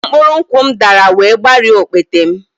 Mkpụrụ nkwụ m dara wee gbarie okpete m